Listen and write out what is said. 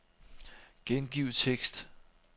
Gengiv tekst.